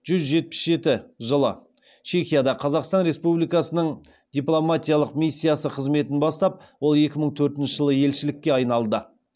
жүз жетпіс жеті жылы чехияда қазақстан республикасының дипломатиялық миссиясы қызметін бастап ол екі мың төртінші жылы елшілікке айналды